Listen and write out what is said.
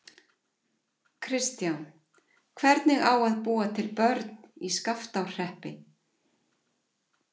Kristján: Hvernig á að búa til börn í Skaftárhreppi?